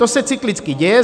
To se cyklicky děje.